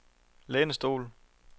lænestol